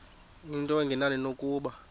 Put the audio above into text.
into engenani nokuba